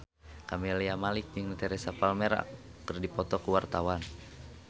Camelia Malik jeung Teresa Palmer keur dipoto ku wartawan